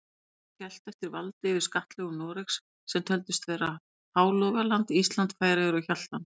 Magnús hélt eftir valdi yfir skattlöndum Noregs, sem töldust vera Hálogaland, Ísland, Færeyjar og Hjaltland.